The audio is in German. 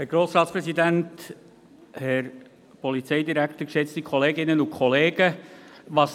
Was Andrea Gschwend kann, kann ich auch.